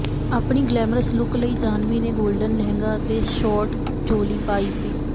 ਆਪਣੀ glamorous look ਲਈ ਜਾਨ੍ਹਵੀ ਨੇ ਗੋਲਡਨ ਲਹਿੰਗਾ ਅਤੇ ਸ਼ੋਰਟ ਚੋਲੀ ਪਾਈ ਸੀ